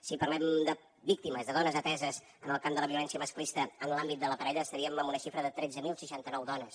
si parlem de víctimes de dones ateses en el camp de la violència masclista en l’àmbit de la parella estaríem en una xifra de tretze mil seixanta nou dones